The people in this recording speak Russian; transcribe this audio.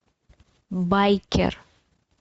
байкер